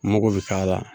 Mako bɛ k'a la